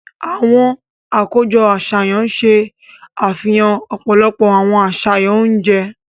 Awọn akojọ aṣayan ṣe àfihàn ọpọlọpọ awọn aṣayan oúnjẹ.